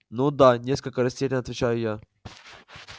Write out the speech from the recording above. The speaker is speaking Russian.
ну да несколько растеряно отвечаю я